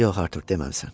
Yox, Artur, deməmisən.